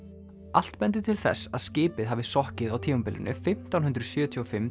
allt bendir til þess að skipið hafi sokkið á tímabilinu fimmtán hundruð sjötíu og fimm